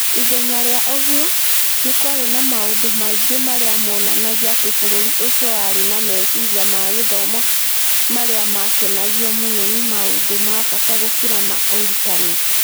Ithenya rĩa ũguo, nĩ kwarĩ na maũndũ maingĩ marĩa moonanagia atĩ bũrũri ũcio warĩ na meciria ma gĩthomo marĩa maakenagio mũno nĩ maũndũ ma bata gũkĩra ma ũrutani.